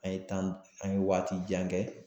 An ye an ye waati jan kɛ